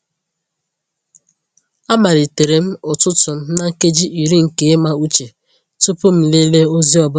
Amalitere m ụtụtụ m na nkeji iri nke ịma uche tupu m lelee ozi ọ bụla.